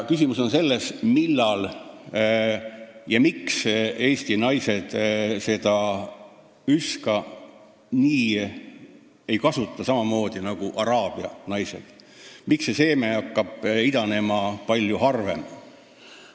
Küsimus on selles, miks eesti naised ei kasuta oma üska samamoodi nagu araabia naised, miks hakkab see seeme seal palju harvem idanema.